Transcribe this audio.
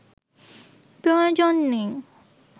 প্রয়োজন নেই